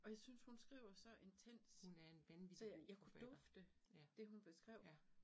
Og jeg synes, hun skriver så intenst, så jeg jeg kunne dufte det, hun beskrev